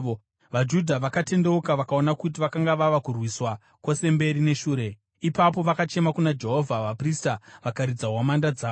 VaJudha vakatendeuka vakaona kuti vakanga vava kurwiswa kwose mberi neshure. Ipapo vakachema kuna Jehovha. Vaprista vakaridza hwamanda dzavo,